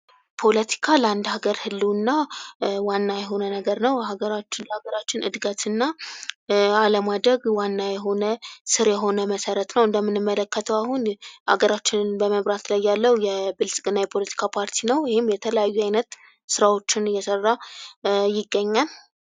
ፖለቲካ ለአንድ ሀገር ህልውና ዋና የሆነ ነገር ነው። በሀገራችን ሀገራችን ዕድገትና አለማደግ ዋናው የሆነ ስር የሆነ መሰረት ነው። እንደምንመለከተው አሁን አገራችንን በመምራት ላይ ያለው የብልጽግና የፖለቲካ ፓርቲ ነው። ይህም የተለያዩ ዓይነት ሥራዎችን እየሠራ ይገኛል።